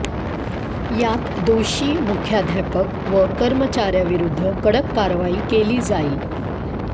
यात दोषीं मुख्याध्यापक व कर्मचाऱ्यांविरूद्ध कडक कारवाई केली जाईल